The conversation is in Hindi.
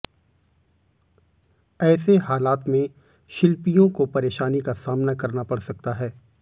ऐसे हालात में शिल्पीयों को परेशानी का सामना करना पड़ सकता है